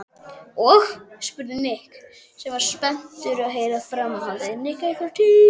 Og? spurði Nikki sem var spenntur að heyra framhaldið.